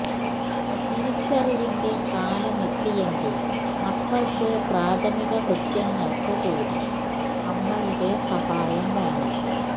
തിരിച്ചറിവിന്റെ കാലമെത്തിയെങ്കിലും മക്കള്ക്ക് പ്രാഥമിക കൃത്യങ്ങള്ക്ക് കൂടി അമ്മയുടെ സഹായം വേണം